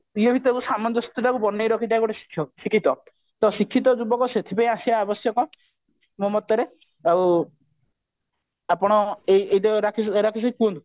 ଆଉ ଇଏ ଭିତରେ ଯୋଉ ସାମଞ୍ଜସ୍ୟ ଟାକୁ ବନେଇ ରଖିଥାଏ ଗୋଟେ ଶିକ୍ଷକ ଶିକ୍ଷିତ ତ ଶିକ୍ଷିତ ଯୁବକ ସେଥି ପାଇଁ ଆସିବା ଆବଶ୍ୟକ ମୋ ମତରେ ଆଉ ଆପଣ ଏଇ ରାକେଶ ଭାଇ ରାକେଶ ଭାଇ କୁହନ୍ତୁ